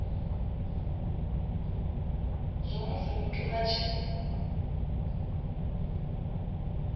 zwa musi muthu a tshi